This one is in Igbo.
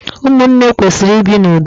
Ụmụnne kwesịrị ibi n'ụdo